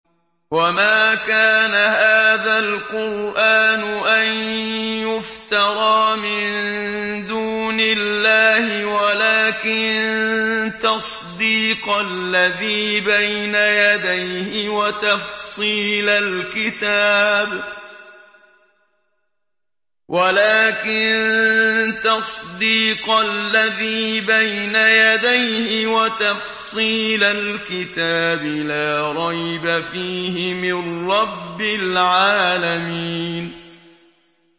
وَمَا كَانَ هَٰذَا الْقُرْآنُ أَن يُفْتَرَىٰ مِن دُونِ اللَّهِ وَلَٰكِن تَصْدِيقَ الَّذِي بَيْنَ يَدَيْهِ وَتَفْصِيلَ الْكِتَابِ لَا رَيْبَ فِيهِ مِن رَّبِّ الْعَالَمِينَ